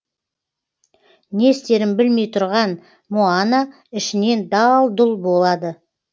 не істерін білмей тұрған моана ішінен дал дұл болады